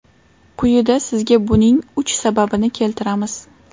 Quyida sizga buning uch sababini keltiramiz.